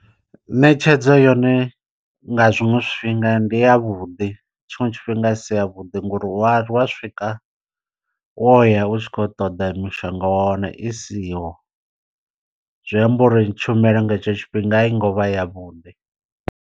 Ṋetshedzo yone nga zwiṅwe zwifhinga ndi ya vhuḓi tshiṅwe tshifhinga a si ya vhuḓi ngori wa wa swika wo ya u tshi khou ṱoḓa mishonga wa wana i siho, zwi amba uri tshumelo nga hetsho tshifhinga a i ngo vha yavhuḓi.